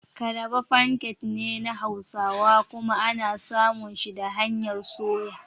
Kalaba "pancake" ne na hausawa kuma ana samun shi da hanyar soya.